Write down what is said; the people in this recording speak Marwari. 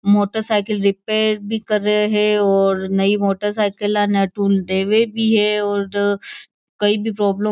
मोटर साइकिल रिपेयर भी कर रयो है और नयी मोटर साइकिल ना टूल देवे भी है और कई भी प्रॉब्लम --